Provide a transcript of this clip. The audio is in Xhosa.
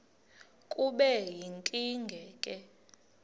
kube yinkinge ke